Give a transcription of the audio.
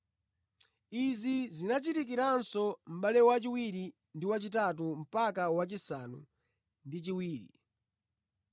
Izi zinachitikiranso mʼbale wa chiwiri ndi wachitatu mpaka wachisanu ndi chiwiri.